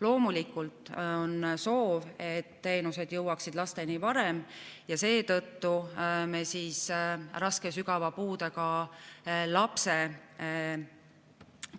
Loomulikult on soov, et teenused jõuaksid lasteni varem, ja seetõttu me raske ja sügava puudega lapse